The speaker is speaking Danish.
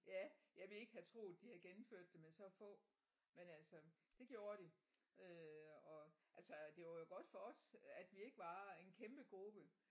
Ja jeg ville ikke have troet de havde gennemført det med så få men altså det gjorde de øh og altså det var jo godt for os at vi ikke var en kæmpe gruppe